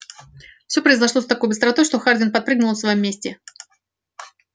всё произошло с такой быстротой что хардин подпрыгнул на своём месте